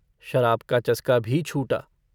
शराब का चसका भी छूटा।